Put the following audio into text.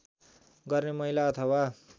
गर्ने महिला अथवा